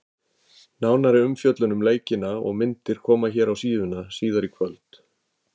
Nánari umfjöllun um leikina og myndir koma hér á síðuna síðar í kvöld.